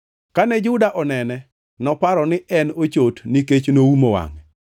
Kane Juda onene, noparo ni en ochot nikech noumo wangʼe.